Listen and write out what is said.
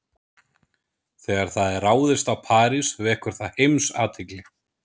Þegar það er ráðist á París vekur það heimsathygli.